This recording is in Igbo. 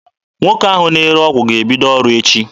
Nwoke ahụ na-ere ọgwụ ga-ebido ọrụ echi.